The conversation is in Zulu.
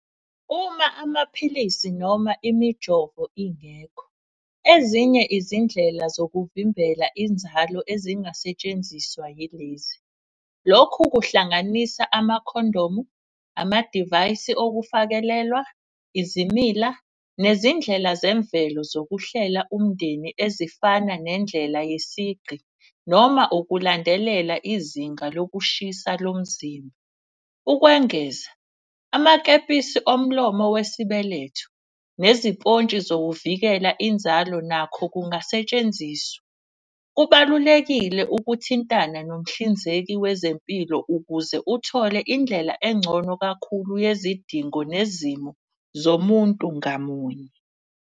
Uma amaphilisi noma imijovo ingekho, ezinye izindlela zokuvimbela inzalo ezingasetshenziswa yilezi. Lokhu kuhlanganisa amakhondomu, amadivayisi okufakelelwa, izimila, nezindlela zemvelo zokuhlela umndeni. Ezifana nendlela yesigqi noma ukulandelela izinga lokushisa lomzimba. Ukwengeza amakepisi omlomo wesibeletho, nezipontshi zokuvikela inzalo nakho kungasetshenziswa. Kubalulekile ukuthintana nomhlinzeki wezempilo ukuze uthole indlela engcono kakhulu yezidingo nezimo zomuntu ngamunye.